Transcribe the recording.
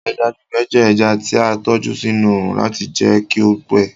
Eja gbígbẹ jẹ ẹja ti a tọju sinu óórun lati jẹ kí ó pẹ